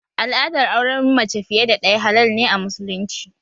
Al'adar auren mace fiye da ɗaya halal ne a musulunci